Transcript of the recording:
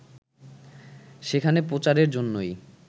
সেখানে প্রচারের জন্যই